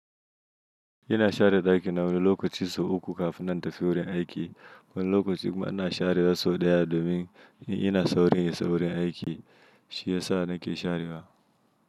Ina share ɗaki na wani lokaci sau uku, kafin nan in tafi wurin aiki. Wani lokaci kuma ina share wa sau ɗaya, domin in ina sauri ne saurin aiki shiyasa nake sharewa.